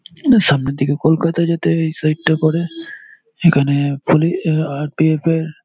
সামনের দিকে কলকাতা যেতে ওই সাইড টা পরে। এখানে পুলিশ আর.পি.এফ -এর--